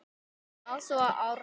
Ása og Árni.